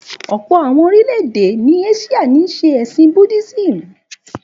Ọ̀pọ̀ àwon orílè-èdè ní Áṣíà ń ṣe ẹ̀sìn Buddhism